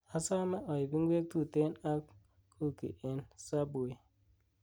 asome oib inkwek tuten ak kuki en subway